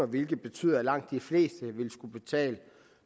hvilket betyder at langt de fleste vil skulle betale